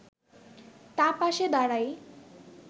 তার পাশে দাঁড়াই”